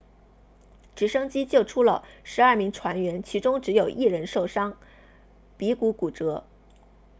直升机救出了12名船员其中只有一人受伤鼻骨骨折